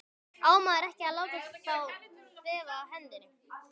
Á maður ekki að láta þá þefa af hendinni?